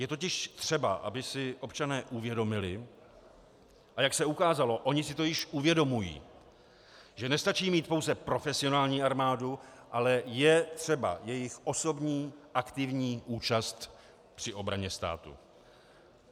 Je totiž třeba, aby si občané uvědomili, a jak se ukázalo, oni si to již uvědomují, že nestačí mít pouze profesionální armádu, ale je třeba jejich osobní aktivní účast při obraně státu.